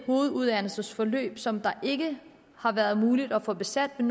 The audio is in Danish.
hoveduddannelsesforløb som det ikke har været muligt at få besat men